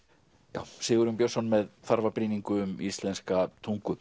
já Sigurjón Björnsson með þarfa brýningu um íslenska tungu